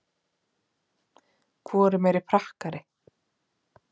Hvor er meiri prakkari?